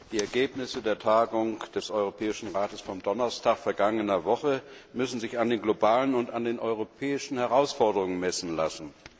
Die Ergebnisse der Tagung des Europäischen Rates vom Donnerstag vergangener Woche müssen sich an den globalen und an den europäischen Herausforderungen messen lassen.